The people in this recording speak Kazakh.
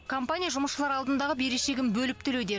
компания жұмысшылар алдындағы берешегін бөліп төлеуде